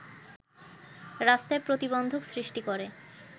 রাস্তায় প্রতিবন্ধক সৃষ্টি করে